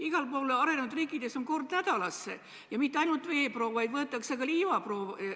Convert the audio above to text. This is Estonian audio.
Igal pool arenenud riikides võetakse kord nädalas, ja mitte ainult veeproov, vaid ka liivaproov.